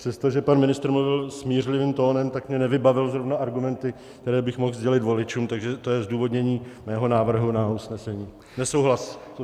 Přestože pan ministr mluvil smířlivým tónem, tak mě nevybavil zrovna argumenty, které bych mohl sdělit voličům, takže to je zdůvodnění mého návrhu na usnesení - nesouhlas.